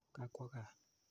Ka kwo kaa.